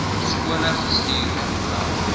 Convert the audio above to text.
skole gestuur alhoewel